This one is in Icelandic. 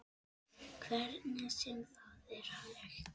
Hvernig sem það er hægt.